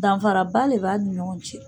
Danfaraba de b'a ni ɲɔgɔn cɛ.